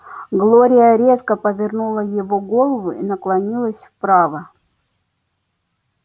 глория резко повернула его голову и наклонилась вправо